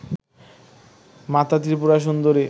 মাতা ত্রিপুরা সুন্দরী